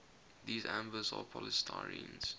these ambers are polystyrenes